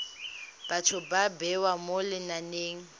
batho ba bewa mo lenaneng